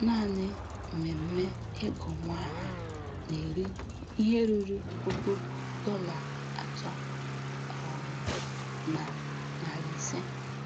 Naanị mmemme ịgụ nwa aha na-eri ihe ruru puku dọla atọ um na narị ise